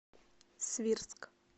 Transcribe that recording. свирск